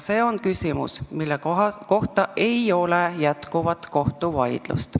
See on küsimus, mille üle ei ole jätkuvat kohtuvaidlust.